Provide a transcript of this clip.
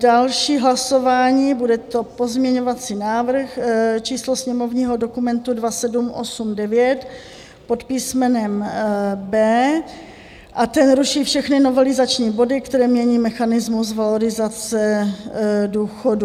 Další hlasování, bude to pozměňovací návrh číslo sněmovního dokumentu 2789 pod písmenem B a ten ruší všechny novelizační body, které mění mechanismus valorizace důchodu.